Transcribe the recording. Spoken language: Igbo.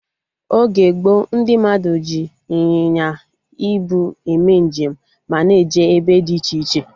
Oge gboo, ndị mmadụ ji ịnyịnya ibu eme njem ma na eje ebe dị iche iche